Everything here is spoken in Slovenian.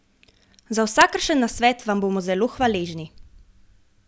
Za vsakršen nasvet vam bomo zelo hvaležni!